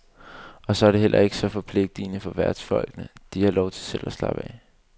Og så er det heller ikke så forpligtende for værtsfolkene, de har lov til selv at slappe af.